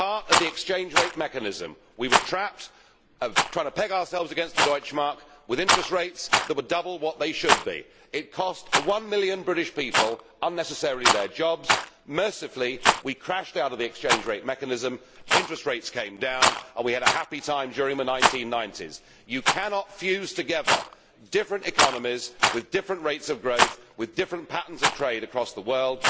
We were part of the exchange rate mechanism. We were trapped, trying to peg ourselves against the Deutschmark with interest rates that were double what they should have been. It cost 1 million British people their jobs unnecessarily. Mercifully we crashed out of exchange rate mechanism, interest rates came down and we had a happy time during the 1990s. You cannot fuse together different economies with different rates of growth and with different patterns of trade across the world.